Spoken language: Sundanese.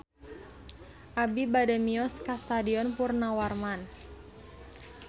Abi bade mios ka Stadion Purnawarman